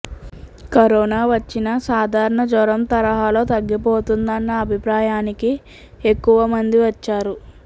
corona వచ్చినా సాధారణ జ్వరం తరహాలో తగ్గిపోతుందన్న అభిప్రాయానికి ఎక్కువ మంది వచ్చారు